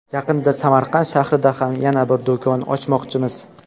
Yaqinda Samarqand shahrida ham yana bir do‘kon ochmoqchimiz.